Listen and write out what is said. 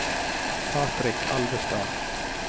Patrick Alvestad